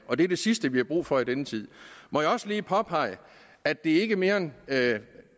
og det er det sidste vi har brug for i denne tid må jeg også lige påpege at det ikke er mere end